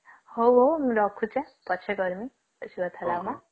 ହଉ ହଉ ମୁଁ ରଖୁଛି ହାଁ ପଛରେକରିମି